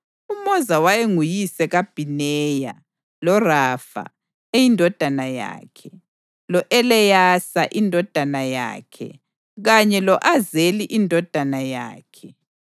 UMoza wayenguyise kaBhineya, loRafa eyindodana yakhe, lo-Eleyasa indodana yakhe kanye lo-Azeli indodana yakhe.